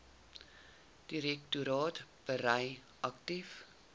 direktoraat verbrei aktief